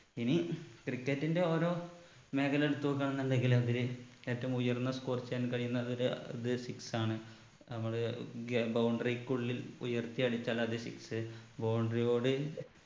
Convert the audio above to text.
ഇനി cricket ന്റെ ഓരോ മേഖല എടുത്ത് നോക്കുവാണെന്നുണ്ടെങ്കില് അതില് ഏറ്റവും ഉയർന്ന score ചെയ്യാൻ കഴിയുന്നവര് അത് six ആണ് നമ്മള് ഗ് boundary ക്ക് ഉള്ളിൽ ഉയർത്തി അടിച്ചാൽ അത് sixboundary യോട്